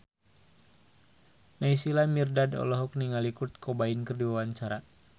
Naysila Mirdad olohok ningali Kurt Cobain keur diwawancara